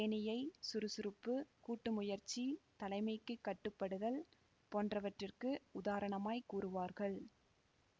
தேனீயை சுறுசுறுப்பு கூட்டு முயற்சி தலைமைக்கு கட்டு படுதல் போன்றவற்றிற்கு உதாரணமாய் கூறுவார்கள்